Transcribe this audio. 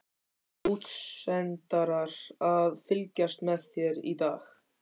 Voru útsendarar að fylgjast með þér í dag, veistu það?